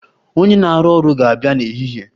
Onye na-arụ ọrụ ga-abịa n'ehihie.